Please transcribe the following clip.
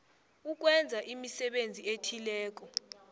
ukwenza imisebenzi ethileko